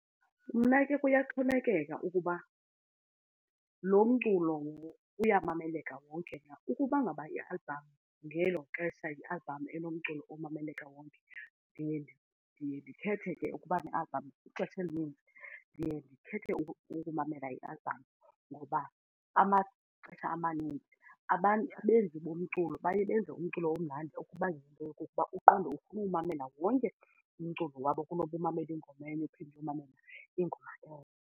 Mna ke kuyaxhomekeka ukuba loo mculo uyamameleka wonke na. Ukuba ngaba i-album ngelo xesha yi-album enomculo omamelekayo ndiye ndikhethe ke ukuba ne-album, ixesha elinintsi ndiye ndikhethe ukumamela i-album. Ngoba amaxesha amaninzi abantu abenzi umculo baye benze umculo omnandi okuba yinto yokokuba uqonde ukuwumamela wonke umculo wabo kunoba umamele ingoma enye uphinde uyomamele ingoma .